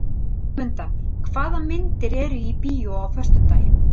Sigmunda, hvaða myndir eru í bíó á föstudaginn?